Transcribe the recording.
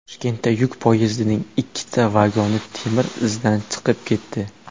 Toshkentda yuk poyezdining ikkita vagoni temir izdan chiqib ketdi .